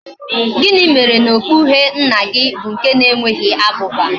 Gini mere na okpu uhie nna gi bu nke na enweghi abuba?